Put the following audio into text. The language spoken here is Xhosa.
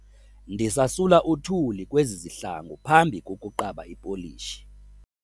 Ndisasula uthuli kwezi zihlangu phambi kokuqaba ipolishi.